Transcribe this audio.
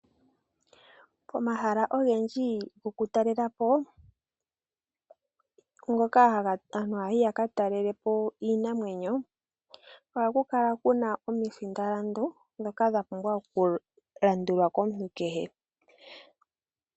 Pomahala ogendji gokutalela po, mpoka aantu haya yi ya ka talele po iinamwenyo ohapu kala pu na omilandu ndhoka dha pumbwa okulandulwa komuntu kehe.